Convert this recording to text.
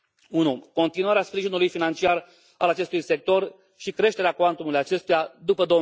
Unu continuarea sprijinului financiar al acestui sector și creșterea cuantumului acestuia după